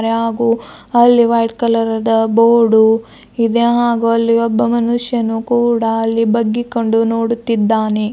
ಹಾಗೂ ಅಲ್ಲಿ white colour ದ ಬೋರ್ಡು ಇದೆ ಹಾಗು ಅಲ್ಲಿ ಒಬ್ಬ ಮನುಷ್ಯನು ಕೂಡ ಅಲ್ಲಿ ಬಗ್ಗಿಕೊಂಡು ನೋಡುತ್ತಿದ್ದಾನೆ.